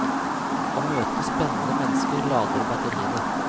Å møte spennende mennesker lader batteriene.